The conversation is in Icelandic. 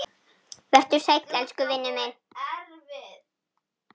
Vertu sæll elsku vinur minn.